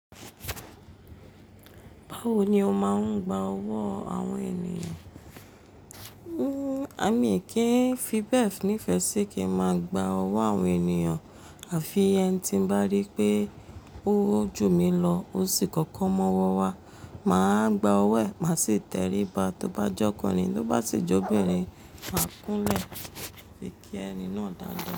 Báwo ni o máa ń gba ọwọ́ àwọn ènìyàn? Mi kì í fi bẹ́ẹ̀ ní ìfẹ́ sí kí n máa gba owo àwọn ènìyàn, à fi ẹ́ní ti n bá rí pé ó ju mi lọ, ó sì kọ́kọ́ mowo wa, màá gba ọwọ́ ẹ̀, màá sì tẹrí ba, tó bá jẹ́ ọkùnrin, tó bá sì jẹ́ obìnrin, màá kúnlẹ̀ fi kí ẹni náà dáa da.